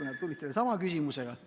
Nad tulid sellesama küsimusega.